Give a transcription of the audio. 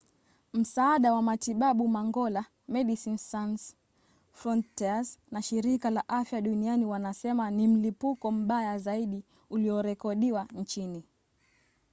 msaada wa matibabu mangola medecines sans frontieres na shirika la afya duniani wanasema ni mlipuko mbaya zaidi uliorekodiwa nchini